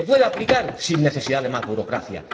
Se puede aplicar sin necesidad de más burocracia.